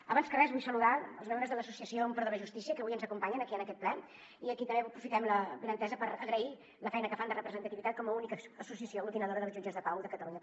abans que res vull saludar els membres de l’associació catalana en pro de la justícia que avui ens acompanyen aquí en aquest ple i a qui també aprofitem l’avinentesa per agrair la feina que fan de representativitat com a única associació aglutinadora dels jutges de pau de catalunya